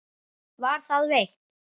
Var það veitt.